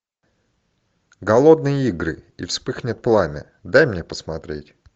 голодные игры и вспыхнет пламя дай мне посмотреть